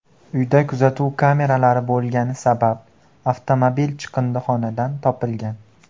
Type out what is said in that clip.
Uyda kuzatuv kameralari bo‘lgani sabab avtomobil chiqindixonadan topilgan.